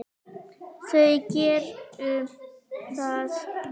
Þau gerðu það.